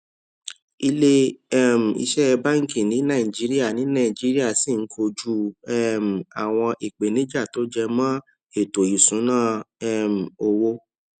ilé um iṣé báńkì ní nàìjíríà ní nàìjíríà ṣì ń kojú um àwọn ìpèníjà tó jẹ mó ètò ìṣúnná um owó